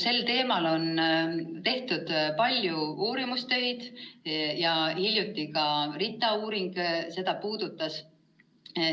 Sel teemal on tehtud palju uurimusi, ka hiljutine RITA uuring puudutas seda.